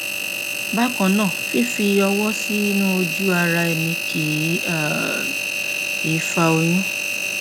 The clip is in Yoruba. bákan náà fífi ọwọ sínú ojúara ẹni kì um í fa oyún